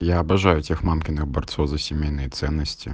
я обожаю тех мамкиных борцов за семейные ценности